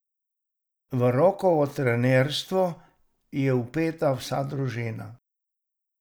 V Rokovo trenerstvo je vpeta vsa družina.